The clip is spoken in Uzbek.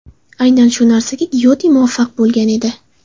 Aynan shu narsaga Gyote muvaffaq bo‘lgan edi.